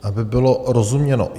Aby bylo rozuměno.